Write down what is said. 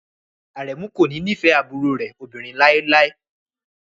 Aremu kò ní nífẹ̀ẹ́ àbúrò rẹ̀ obìnrin láéláé